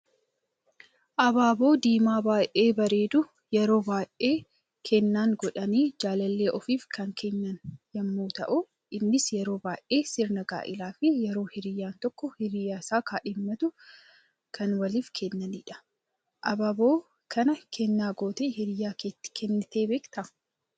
Abaaboo diimaa baay'ee bareedu, yeroo baaay'ee kennan godhani jaalallee ofiif kan kenna yemmu ta'u, innis yeroo baay'ee sirna gaa'eelaa fi yeroo hiriyan tokko hiriyaa isaa kadhimmatu kan waliif kennanidha. Abaaboo kana kenna gootee hiriyaa keeti kennite beekta?